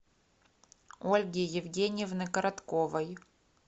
ольги евгеньевны коротковой